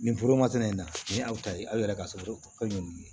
Nin foro masina ye nin na nin aw ta ye aw yɛrɛ ka so ye nin ye